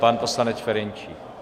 Pan poslanec Ferjenčík.